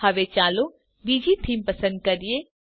હવે ચાલો બીજી થીમ પસંદ કરીએ